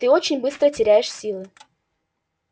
ты очень быстро теряешь силы